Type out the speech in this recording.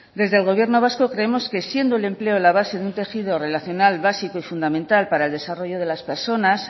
desde el gobierno vasco creemos que siendo el empleo la base de un tejido relacional básico y fundamental para el desarrollo de las personas